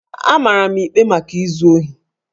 A mara m ikpe maka izu ohi